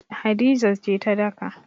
Hadiza ce za ta daka.